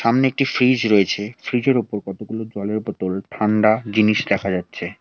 সামনে একটি ফ্রিজ রয়েছে ফ্রিজের ওপর কতগুলো জলের বোতল ঠান্ডা জিনিস দেখা যাচ্ছে।